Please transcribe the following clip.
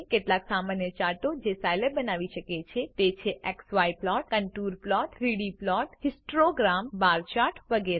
કેટલાક સામાન્ય ચાર્ટો જે સાયલેબ બનાવી શકે છે તે છે160 x y plot contour plot 3ડી પ્લોટ હિસ્તોગ્રામ બાર ચાર્ટ વગેરે